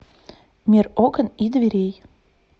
мир окон и дверей